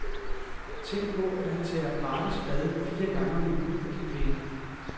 Tænk på, at han tager gratis bad fire gange om ugen for de penge.